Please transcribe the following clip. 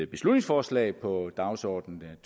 beslutningsforslag på dagsordenen